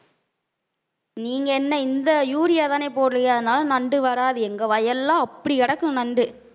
நீங்க என்ன இந்த யூரியாதானே போடுறீங்க அதனால நண்டு வராது. எங்க வயல்லாம் அப்படி கிடக்கும் நண்டு